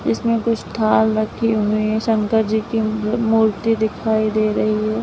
इसमें कुछ थाल रखी हुई है शंकर जी की मूर्ति दिखाई दे रही है।